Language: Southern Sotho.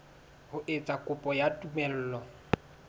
ho etsa kopo ya tumello